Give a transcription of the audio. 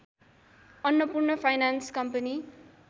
Annapurna finance company